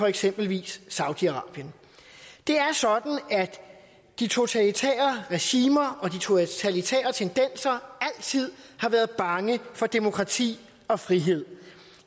eksempelvis saudi arabien det er sådan at de totalitære regimer og de totalitære tendenser altid har været bange for demokrati og frihed